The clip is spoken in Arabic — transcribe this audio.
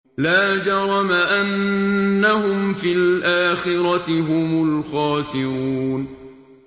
لَا جَرَمَ أَنَّهُمْ فِي الْآخِرَةِ هُمُ الْخَاسِرُونَ